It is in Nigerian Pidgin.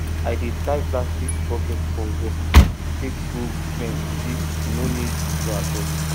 i dey tie plastic bucket for wall take grow green e no need floor at all